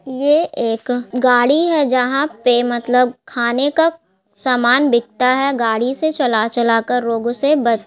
ये एक गाड़ी है जहां पे मतलब खाने का सामान बिकता है गाड़ी से चला चला कर लोग उसे बच --